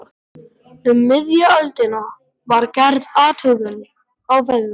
Um miðja öldina var gerð athugun á vegum